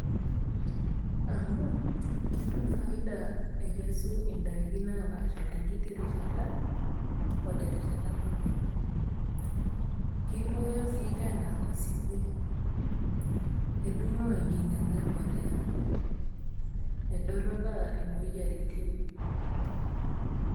Amu ketum faida ekesu indaiki napaasha tenkiti rishata o terishat nabo, keibooyo sii teena enkinyanga embolea, edoropaa imoyiaritin